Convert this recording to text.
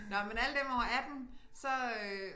Nåh men alle dem over 18 så øh